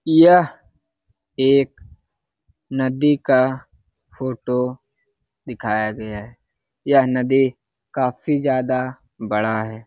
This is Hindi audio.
यह एक नदी का फोटो दिखाया गया है यह नदी काफी ज्यादा बड़ा है |